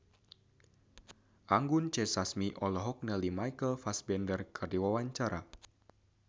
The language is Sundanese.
Anggun C. Sasmi olohok ningali Michael Fassbender keur diwawancara